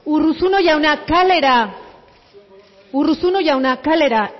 urruzuno jauna kalera urruzuno jauna kalera